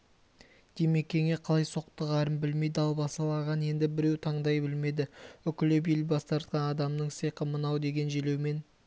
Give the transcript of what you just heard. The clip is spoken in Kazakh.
димекеңе қалай соқтығарын білмей далбасалаған енді біреу таңдай білмеді үкілеп ел басқартқан адамының сиқы мынау деген желеумен